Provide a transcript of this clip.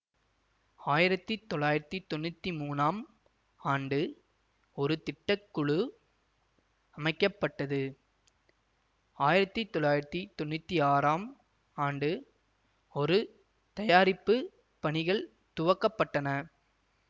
ஆயிரத்தி தொள்ளாயிரத்தி தொன்னூத்தி மூனாம் ஆண்டு ஒரு திட்ட குழு அமைக்க பட்டது ஆயிரத்தி தொள்ளாயிரத்தி தொன்னூத்தி ஆறாம் ஆண்டு ஒரு தயாரிப்பு பணிகள் துவக்க பட்டன